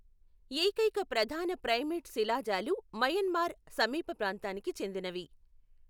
ఏకైక ప్రధాన ప్రైమేట్ శిలాజాలు మయన్మార్ సమీప ప్రాంతానికి చెందినవి.